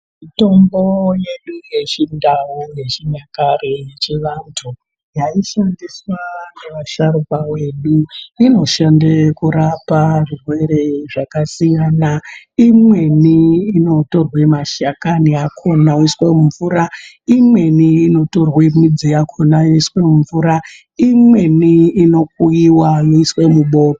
Mitombo yedu yechindau yechinyakare yechivantu yaishandiswa navasharuka vedu inoshanda kurapa zvirwere zvakasiyana. Imweni inotorwe mashakani akona oiswe mumvura. Imweni yakhona inotorwe midzi yakhona yoiswe mumuvura. Imweni inokuiva yoiswe mubota.